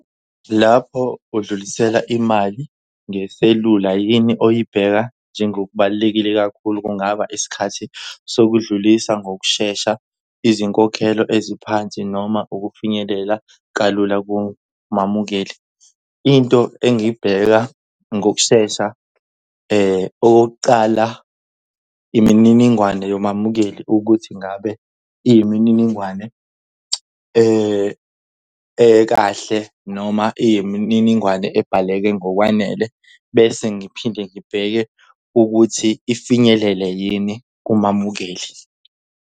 Lapho udlulisela imali ngeselula yini oyibheka njengokubalulekile kakhulu? Kungaba isikhathi sokudlulisa ngokushesha, izinkokhelo eziphansi noma ukufinyelela kalula kumamukeli? Into engiyibheka ngokushesha okokuqala imininingwane yomamukeli ukuthi ngabe iyimininingwane ekahle noma iyimininingwane ebhaleke ngokwanele. Bese ngiphinde ngibheke ukuthi ifinyelele yini kumamukeli.